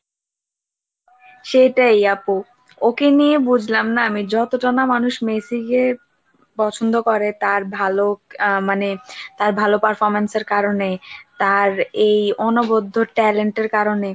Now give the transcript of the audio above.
সেটাই আপু ওকে নিয়ে বুঝলাম না আমি যতটা না মানুষ message এর পছন্দ করে তার ভালো মানে, তার ভালো performance এর কারণে, তার এই অনবদ্ধ talent এর কারণে,